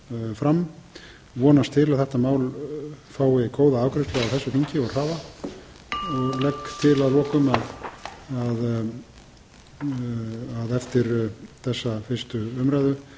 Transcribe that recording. fram ég vonast til að þetta mál fái góða afgreiðslu á þessu þingi og hraða og legg til að lokum að eftir þessa fyrri umræðu